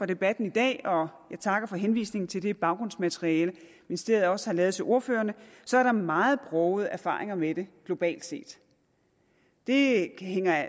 debatten i dag og jeg takker for henvisningen til det baggrundsmateriale ministeriet også har lavet til ordførerne så er der meget brogede erfaringer med det globalt set det hænger